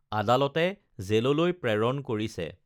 আাদালতে জেললৈ প্ৰেৰণ কৰিছে